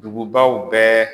Dugubaw bɛɛ